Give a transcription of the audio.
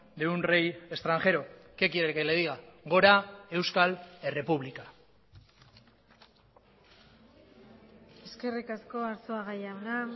de un rey extranjero qué quiere que le diga gora euskal errepublika eskerrik asko arzuaga jauna